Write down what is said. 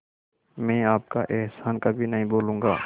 मैं आपका एहसान कभी नहीं भूलूंगा